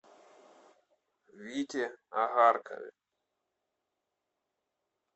вите огаркове